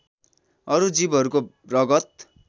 अरु जीवहरूको रगत